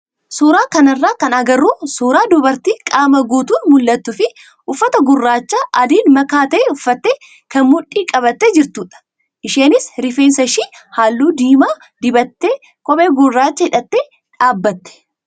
Suuraa kanarraa kan agarru suuraa dubartii qaama guutuun mul'attuu fi uffata gurraacha adiin makaa ta'e uffatte kan mudhii qabattee jirtudha. Isheenis rifeensa ishee halluu diimaa dibattee kophee gurraacha hidhattee dhaabbatte.